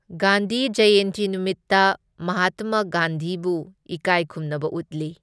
ꯒꯥꯟꯙꯤ ꯖꯌꯦꯟꯇꯤ ꯅꯨꯃꯤꯠꯇ ꯃꯍꯥꯠꯇꯃ ꯒꯥꯟꯙꯤꯕꯨ ꯏꯀꯥꯏ ꯈꯨꯝꯅꯕ ꯎꯠꯂꯤ꯫